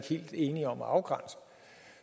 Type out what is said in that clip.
helt enige om at afgrænse